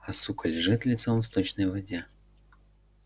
а сука лежит лицом в сточной воде